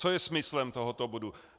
Co je smyslem tohoto bodu?